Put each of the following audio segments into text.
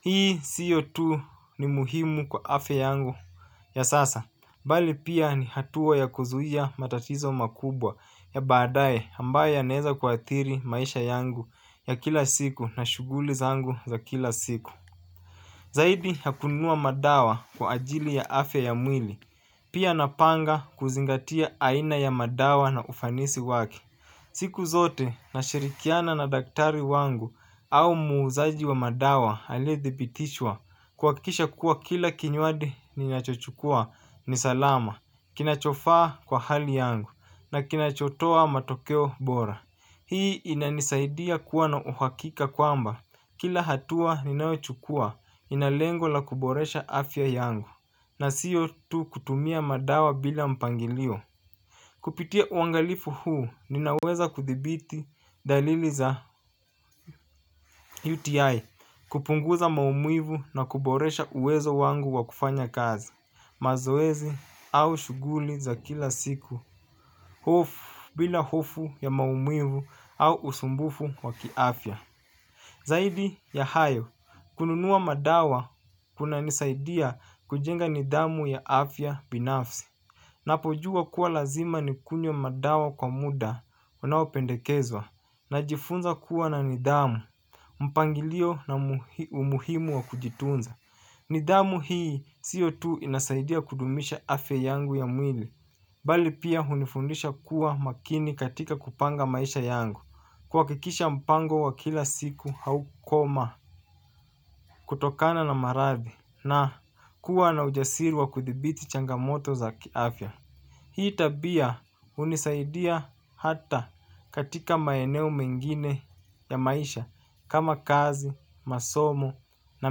Hii sio tu ni muhimu kwa afya yangu ya sasa bali pia ni hatua ya kuzuia matatizo makubwa ya baadaye ambayo yanaeza kuathiri maisha yangu ya kila siku na shughuli zangu za kila siku. Zaidi ya kununua madawa kwa ajili ya afya ya mwili, pia napanga kuzingatia aina ya madawa na ufanisi wake. Siku zote nashirikiana na daktari wangu au muuzaji wa madawa alie dhibitishwa kuhakikisha kuwa kila kinywaji ninachochukua ni salama, kinachofaa kwa hali yangu na kinachotoa matokeo bora. Hii inanisaidia kuwa na uhakika kwamba kila hatua ninayochukua ina lengo la kuboresha afya yangu na sio tu kutumia madawa bila mpangilio. Kupitia uangalifu huu ninaweza kuthibiti dalili za UTI kupunguza maumivu na kuboresha uwezo wangu wa kufanya kazi. Mazoezi au shughuli za kila siku. Hofu bila hofu ya maumivu au usumbufu wa kiafya. Zaidi ya hayo, kununua madawa kuna nisaidia kujenga nidhamu ya afya binafsi. Napojua kuwa lazima nikunywe madawa kwa muda unao pendekezwa najifunza kuwa na nidhamu, mpangilio na umuhimu wa kujitunza. Nidhamu hii sio tu inasaidia kudumisha afya yangu ya mwili bali pia hunifundisha kuwa makini katika kupanga maisha yangu kuhakikisha mpango wa kila siku haukoma kutokana na maradhi na kuwa na ujasiri wa kudhibiti changamoto za kiafya. Hii tabia hunisaidia hata katika maeneo mengine ya maisha kama kazi, masomo na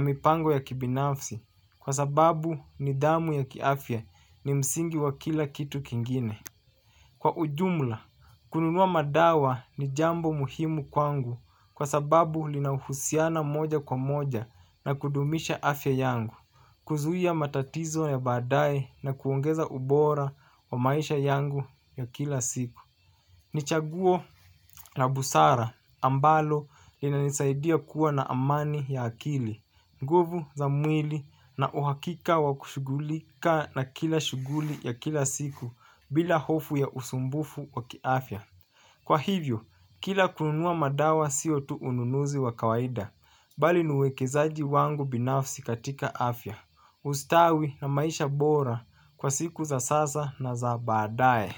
mipango ya kibinafsi kwa sababu nidhamu ya kiafya ni msingi wa kila kitu kingine. Kwa ujumla, kununua madawa ni jambo muhimu kwangu kwa sababu linauhusiana moja kwa moja na kudumisha afya yangu, kuzuia matatizo ya baadaye na kuongeza ubora wa maisha yangu ya kila siku. Ni chaguo la busara ambalo linanisaidia kuwa na amani ya akili, nguvu za mwili na uhakika wa kushugulika na kila shughuli ya kila siku bila hofu ya usumbufu wa kiafya. Kwa hivyo, kila kununua madawa sio tu ununuzi wa kawaida bali ni uwekezaji wangu binafsi katika afya ustawi na maisha bora kwa siku za sasa na za baadaye.